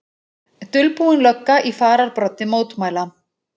Dulbúin lögga í fararbroddi mótmæla